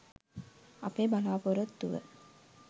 අපේ බලාපොරොත්තුව.